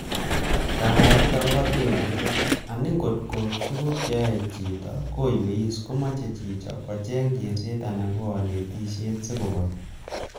Kabwatet agobo tebutiet,'' ani ngot ko''Tuguk cheyoe chito koyweis komoche chichok kocheng cherset anan ko konetishiet sikoboi.